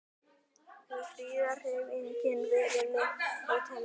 Hefur friðarhreyfingin verið með hótanir?